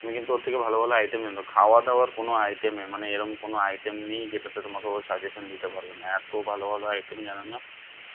তুমি কিন্তু ওর থেকে ভালো ভালো item জেনে নাও। খাওয়া দাওয়ার কোনো item এ মানে এ রকম কোনো item নেই যেটাতে তোমাকে ও suggestion দিতে পারবে না এত ভালো ভালো item জানে না